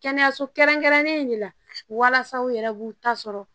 Kɛnɛyaso kɛrɛnkɛrɛnlen in de la walasa u yɛrɛ b'u ta sɔrɔ